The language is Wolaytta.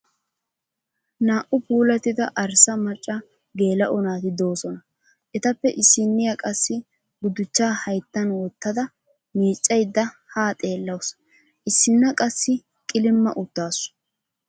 Naa"u puulattida arssa macca geela'o naati doosona. Etappe issiniya qassi gudichchaa hayittan wottadda miiccayidda haa xeellawusu. Issinna qassi qilimma uttaasu.